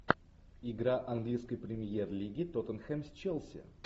игра английской премьер лиги тоттенхэм с челси